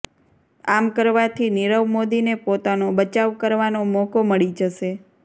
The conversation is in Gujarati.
આમ કરવાથી નિરવ મોદીને પોતાનો બચાવ કરવાનો મોકો મળી જશે